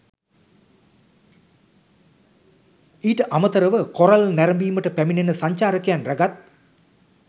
ඊට අමතරව කොරල් නැරඹීමට පැමිණෙන සංචාරකයන් රැගත්